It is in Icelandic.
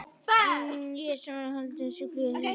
Ég sem var að halda þessa gleði fyrir þig!